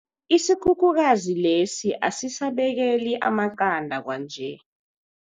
Isikhukhukazi lesi asisabekeli amaqanda kwanje.